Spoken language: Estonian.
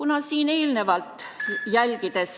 Palun veel kolm minutit!